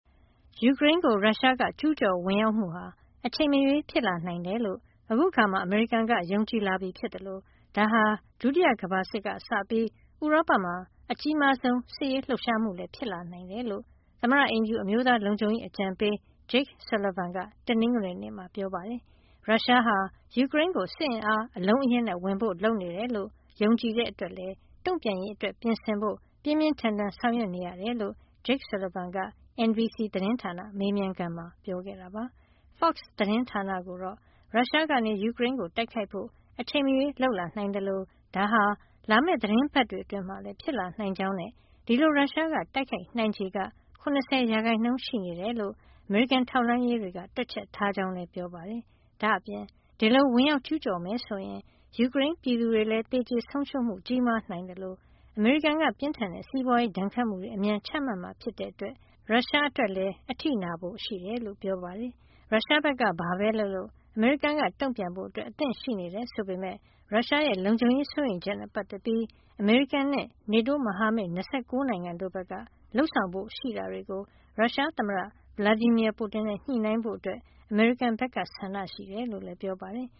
ယူကရိန်းကို ရုရှားက ကျူးကျော်ဝင်ရောက်မှုဟာ အချိန်မရွေး ဖြစ်လာနိုင်တယ်လို့ အခုအခါမှာ အမေရိကန်က ယုံကြည်လာပြီဖြစ်သလို ဒါဟာ ဒုတိယကမ္ဘာစစ်ကစပြီး ဥရောပမှာ အကြီးမားဆုံး စစ်ရေးလှုပ်ရှားမှုလည်း ဖြစ်လာနိုင်တယ်လို့ သမ္မတအိမ်ဖြူတော် အမျိုးသားလုံခြုံရေး အကြံပေး Jake Sullivan က တနင်္ဂနွေနေ့မှာ ပြောပါတယ်။ ရုရှားဟာ ယူကရိန်းကို စစ်အင်အား အလုံးအရင်းနဲ့ ဝင်ဖို့ လုပ်နေတယ်လို့ ယုံကြည်တဲ့အတွက်လည်း တုံ့ပြန်ရေးအတွက် ပြင်ဆင်ဖို့ ပြင်းပြင်းထန်ထန် ဆောင်ရွက်နေရတယ်လို့ Jake Sullivan က NBC သတင်းဌာန မေးမြန်းခန်းမှာ ပြောခဲ့တာပါ။ Fox သတင်းဌာနကိုတော့ ရုရှားကနေ ယူကရိန်းကို တိုက်ခိုက်ဖို့ အချိန်မရွေး လုပ်လာနိုင်သလို ဒါဟာ လာမယ့် သီတင်းပတ်တွေအတွင်းမှာလည်း ဖြစ်လာနိုင်ကြောင်းနဲ့ ဒီလို ရုရှားက တိုက်ခိုက်နိုင်ခြေက ၇၀ ရာခိုင်နှုန်း ရှိနေတယ်လို့ အမေရိကန် ထောက်လှမ်းရေးတွေက တွက်ချက်ထားကြောင်း ပြောပါတယ်။ ဒါ့အပြင် ဒီလို ဝင်ရောက်ကျူးကျော်မယ်ဆိုရင် ယူကရိန်းပြည်သူတွေလည်း သေကျေဆုံးရှုံးမှု ကြီးမားနိုင်သလို အမေရိကန်က ပြင်းထန်တဲ့ စီးပွားရေးဒဏ်ခတ်မှုတွေ အမြန်ချမှတ်မှာ ဖြစ်တဲ့အတွက် ရုရှားအတွက် အထိနာဖို့ရှိတယ်လို့ ပြောပါတယ်။ ရုရှားဘက်က ဘာပဲလုပ်လုပ် အမေရိကန်က တုံ့ပြန်ဖို့ အသင့်ရှိနေတယ် ဆိုပေမယ့် ရုရှားရဲ့ လုံခြုံရေးစိုးရိမ်ချက်နဲ့ ပတ်သက်ပြီး အမေရိကန်နဲ့ NATO မဟာမိတ် ၂၉ နိုင်ငံတို့ဘက်က လုပ်ဆောင်ဖို့ ရှိတာတွေကို ရုရှားသမ္မတ Vladimir Putin နဲ့ ညှိနှိုင်းဖို့ အမေရိကန်ဘက်က ဆန္ဒရှိကြောင်းလည်း ပြောပါတယ်